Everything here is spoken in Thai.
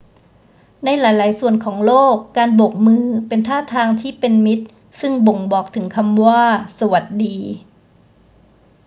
ในหลาย ๆ ส่วนของโลก การโบกมือเป็นท่าทางที่เป็นมิตรซึ่งบ่งบอกถึงคำว่า สวัสดี